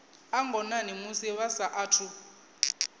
a ngonani musi vha saathu